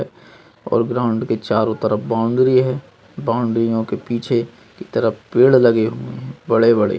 और ग्राउंड के चारों तरफ बाउंड्री है बाउंड्री ओं के पीछे की तरफ पेड़ लगे हुए है बड़े बड़े।